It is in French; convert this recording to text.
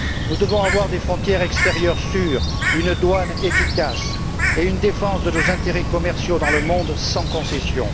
Nous devons avoir des frontières extérieures sûres, une douane efficace et défendre nos intérêts commerciaux dans le monde sans concessions.